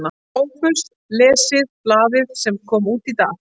SOPHUS: Lesið blaðið sem kom út í dag.